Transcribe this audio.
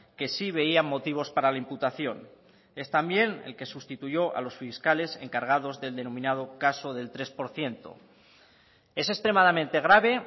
que sí veían motivos para la imputación es también el que sustituyó a los fiscales encargados del denominado caso del tres por ciento es extremadamente grave